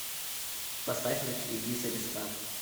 поставь на телевизоре стар